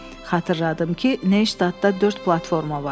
Xatırladım ki, Neystadda dörd platforma var.